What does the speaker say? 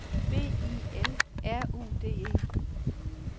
B I L R U D E